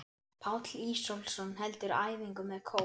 Páll Ísólfsson heldur æfingu með kór.